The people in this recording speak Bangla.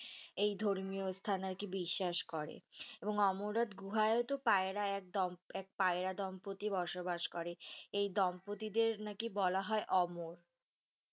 এই ধর্মীয় স্থান আরকি বিশ্বাস করে। এবং অমরনাথ গুহায়ওতো পায়রায় একদল এক পায়রা দম্পতি বসবাস করে। এই দম্পতিদের নাকি বলা হয় অমর।